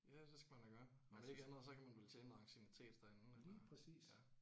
Ja det skal man da gøre om ikke andet så kan man vel tjene noget anciennitet derinde eller ja